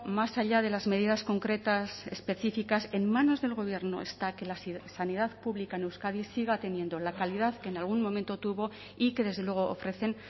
más allá de las medidas concretas específicas en manos del gobierno está que la sanidad pública en euskadi siga teniendo la calidad que en algún momento tuvo y que desde luego ofrecen